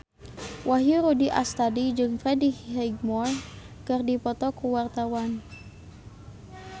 Wahyu Rudi Astadi jeung Freddie Highmore keur dipoto ku wartawan